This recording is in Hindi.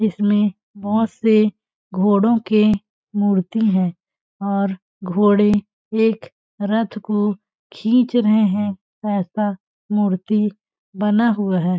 इसमें बहोत से घोडों के मूर्ति हैं। और घोड़े एक रथ को खिंच रहैं हैं ऐसा मूर्ति बना हुवा है।